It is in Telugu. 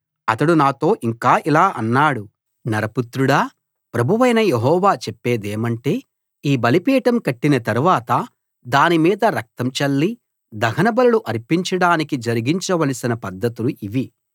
అతడు నాతో ఇంకా ఇలా అన్నాడు నరపుత్రుడా ప్రభువైన యెహోవా చెప్పేదేమంటే ఈ బలిపీఠం కట్టిన తరవాత దాని మీద రక్తం చల్లి దహనబలులు అర్పించడానికి జరిగించ వలసిన పద్ధతులు ఇవి